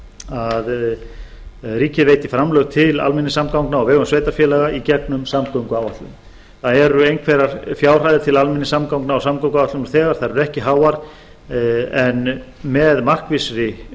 að ríkið veiti framlög til almenningssamgangna á vegum sveitarfélaga í gegnum samgönguáætlun það eru einhverjar fjárhæðir til almenningssamgangna og samgönguáætlunar nú þegar þær eru ekki háar en með markvissri